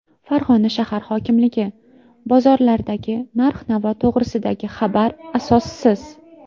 Farg‘ona shahar hokimligi: bozorlardagi narx-navo to‘g‘risidagi xabar asossiz.